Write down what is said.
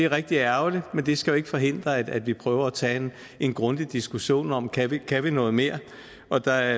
rigtig ærgerligt men det skal jo ikke forhindre at vi prøver at tage en grundig diskussion om kan vi kan vi noget mere og der